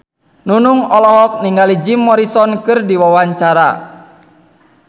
Nunung olohok ningali Jim Morrison keur diwawancara